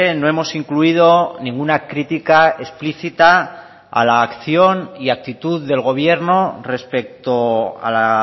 no hemos incluido ninguna crítica explícita a la acción y actitud del gobierno respecto a la